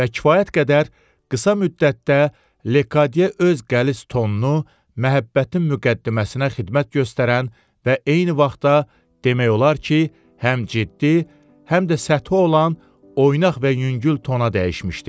Və kifayət qədər qısa müddətdə Lekadiyə öz qəliz tonunu məhəbbətin müqəddiməsinə xidmət göstərən və eyni vaxtda demək olar ki, həm ciddi, həm də səthi olan oynaq və yüngül tona dəyişmişdi.